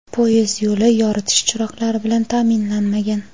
poyezd yo‘li yoritish chiroqlari bilan ta’minlanmagan.